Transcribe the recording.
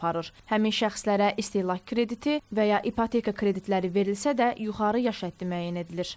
Həmin şəxslərə istehlak krediti və ya ipoteka kreditləri verilsə də, yuxarı yaş həddi müəyyən edilir.